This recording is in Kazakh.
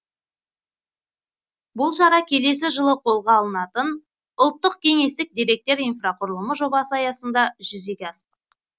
бұл шара келесі жылы қолға алынатын ұлттық кеңістіктік деректер инфрақұрылымы жобасы аясында жүзеге аспақ